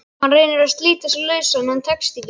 Hann reynir að slíta sig lausan en tekst ekki.